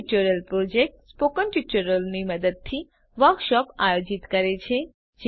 spoken tutorial project spoken ટ્યુટોરીયલોની મદદથી workshop આયોજિત કરે છે